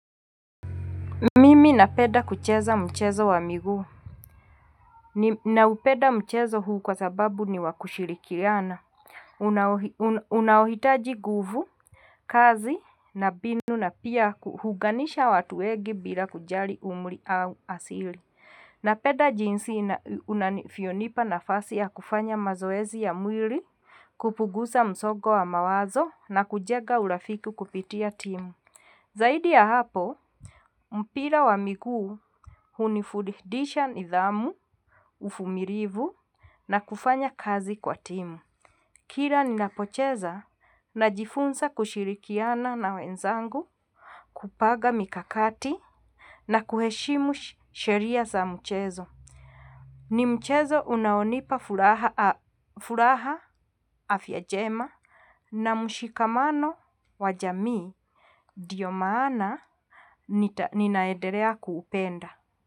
Mimi napeda kucheza mchezo wa miguu. Naupenda mchezo huu kwa sababu ni wakushirikirana. Unaohitaji nguvu, kazi na mbinu na pia hunganisha watu wengi bila kujali umri au asili. Napenda jinsi na unavyonipa nafasi ya kufanya mazoezi ya mwili, kupunguza msongo wa mawazo na kujega urafiki kupitia timu. Zaidi ya hapo, mpira wa miguu hunifundisha nidhamu, uvmilivu na kufanya kazi kwa timu. Kila ninapocheza na jifunza kushirikiana na wenzangu, kupanga mikakati na kuheshimu sheria za mchezo. Ni mchezo unaonipa furaha afya njema na mshikamano wa jamii ndio maana ninaedelea kuupenda.